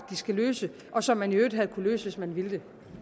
de skal løse og som man i øvrigt havde kunnet løse hvis man ville det